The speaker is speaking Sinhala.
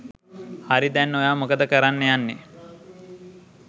හරි දැන් ඔයා මොකද කරන්න යන්නෙ?